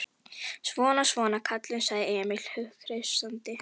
Svona, svona, kallinn, sagði Emil hughreystandi.